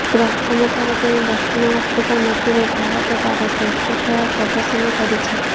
ପ୍ରଥମ ଥର ପାଇଁ ଦକ୍ଷିଣ ଆଫ୍ରିକା ମାଟିରେ ଭାରତ ତାର ଶ୍ରେଷ୍ଠ ଖେଳ ପ୍ରଦର୍ଶନ କରିଛି